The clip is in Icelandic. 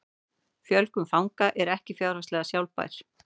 Fjölgun fanga er ekki fjárhagslega sjálfbær